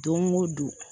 Don o don